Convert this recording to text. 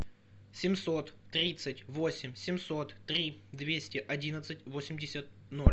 семьсот тридцать восемь семьсот три двести одиннадцать восемьдесят ноль